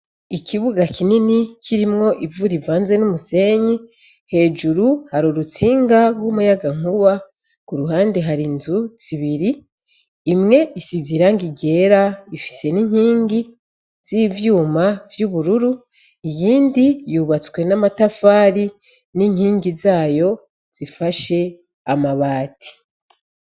Ikibuga kinini kirimwo ivura ivanze n'umusenyi hejuru hari urutsinga w'umuyagankuba ku ruhande hari inzu zibiri imwe isiziranga igera ifise n'inkingi z'ivyuma vy'ubururu iyindi yubatswe n'amatafari n'inkingi zae ayo zifashe amabati.